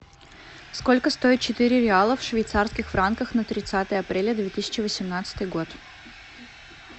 сколько стоит четыре реала в швейцарских франках на тридцатое апреля две тысячи восемнадцатый год